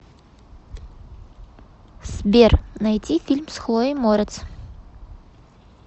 сбер найти фильм с хлоей морец